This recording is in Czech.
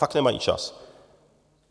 Fakt nemají čas.